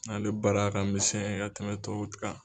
N'ale baara ka misɛn ka tɛmɛ tɔw kan.